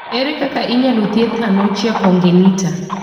To ere kaka inyalo thiedhi anonychia congenita?